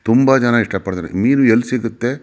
ತುಂಬಾ ಜನ ಇಷ್ಟ ಪಡ್ತಾರೆ ಮೀನು ಎಲ್ಲಿ ಸಿಗುತ್ತೆ.